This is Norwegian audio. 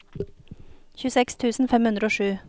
tjueseks tusen fem hundre og sju